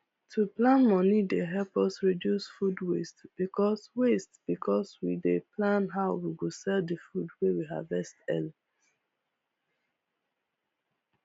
to plan moni dey help us reduce food waste because waste because we dey plan how we go sell the food wey we harvest early